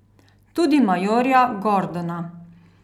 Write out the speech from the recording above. Tudi majorja Gordona.